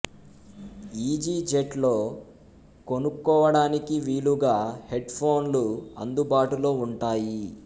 easy jet లో కొనుక్కోవడానికి వీలుగా హెడ్ ఫోన్లు అందుబాటులో ఉంటాయి